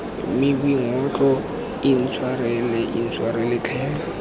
mme boingotlo intshwarele intshwarele tlhe